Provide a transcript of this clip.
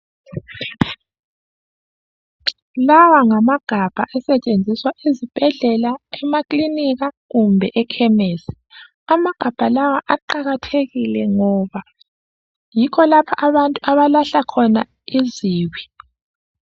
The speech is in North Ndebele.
Lawa ngamagabha asetshenziswa ezibhedlela, emakilinika kumbe eKhemisi. Amagabha lawa aqakathekile ngoba yikho lapho abantu abalahla khona izibi.